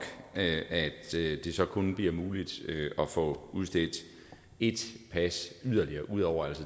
at det så kun bliver muligt at få udstedt et pas yderligere ud over